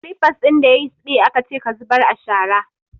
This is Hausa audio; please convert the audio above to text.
Slippers din da ya siɗe akace ka zubar a shara!